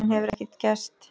Síðan hefur ekkert gerst.